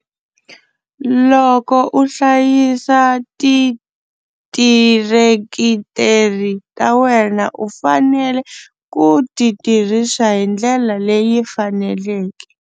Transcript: Loko u hlayisa ti tirekitere ta wena u fanele ku ti tirhisa hi ndlela leyi faneleke.